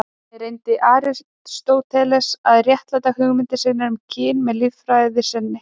Þannig reyndi Aristóteles að réttlæta hugmyndir sínar um kynin með líffræði sinni.